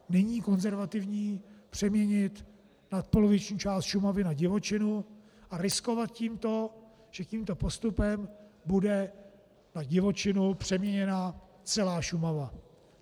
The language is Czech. Není konzervativní přeměnit nadpoloviční část Šumavy na divočinu a riskovat tím, že tímto postupem bude na divočinu přeměněna celá Šumava.